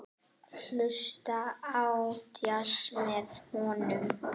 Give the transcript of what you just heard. Hlusta á djass með honum.